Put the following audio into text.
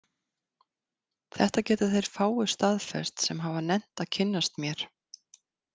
Þetta geta þeir fáu staðfest sem hafa nennt að kynnast mér.